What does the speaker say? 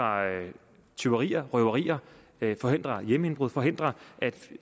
tyverier røverier forhindre hjemmeindbrud forhindre